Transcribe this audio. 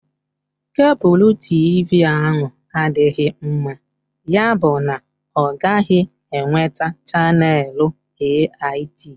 Kebulu TV ahụ adịghị mma, yabụ na ọ gaghị enweta chaneelu AIT.